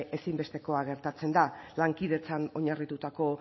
ezinbestekoa gertatzen da lankidetzan oinarritutako